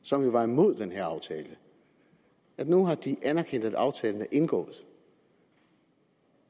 som jo var imod den her aftale at nu har de anerkendt at aftalen er indgået og